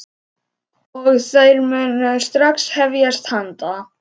Og þær munu strax hefjast handa.